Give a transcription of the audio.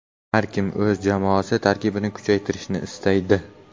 Har kim o‘z jamoasi tarkibini kuchaytirishni istaydi.